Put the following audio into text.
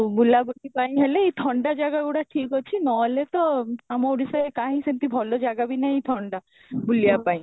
ଆଉ ବୁଲା ବୁଲି ପାଇଁ ହେଲେ ଏଇ ଥଣ୍ଡା ଜାଗା ଗୁଡା ଠିକ ଅଛି ନ ହେଲେ ତ ଆମ ଓଡ଼ିଶାରେ କାହିଁ ସେମିତି ଭଲ ଜାଗା ବି ନାହିଁ ଥଣ୍ଡା ପାଇଁ